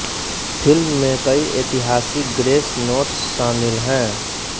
film में कई ऐतिहासिक ग्रेस नोट्स शामिल हैं